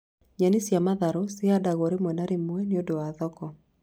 Nyeni cia matharũ cihandagwo rĩmwe na rĩmwe nĩ ũndũ wa thoko